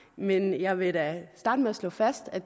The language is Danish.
men jeg vil da starte med at slå fast at